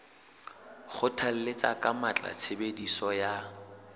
kgothalletsa ka matla tshebediso ya